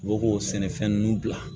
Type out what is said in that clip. U bɛ k'o sɛnɛfɛn ninnu bila